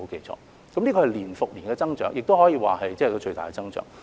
這是年復年的增長，亦可以說是最大的增長。